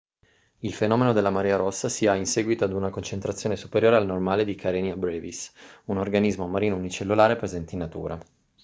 il fenomeno della marea rossa si ha in seguito ad una concentrazione superiore al normale di karenia brevis un organismo marino unicellulare presente in natura